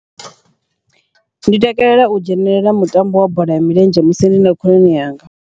Ndi takalela u dzhenelela mutambo wa bola ya milenzhe musi ndi na khonani yanga.